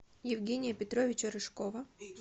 евгения петровича рыжкова